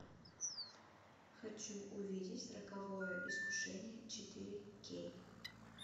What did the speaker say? хочу увидеть роковое искушение четыре кей